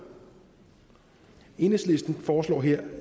enhedslisten foreslår her